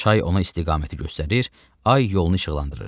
Çay ona istiqaməti göstərir, ay yolunu işıqlandırırdı.